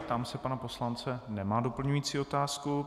Ptám se pana poslance - nemá doplňující otázku.